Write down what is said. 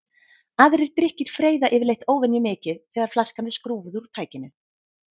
Aðrir drykkir freyða yfirleitt óvenjumikið þegar flaskan er skrúfuð úr tækinu.